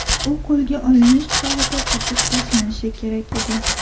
U qo‘lga olinish chog‘ida otib tashlanishi kerak edi.